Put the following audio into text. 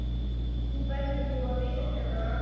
Þú verður nú að viðurkenna það.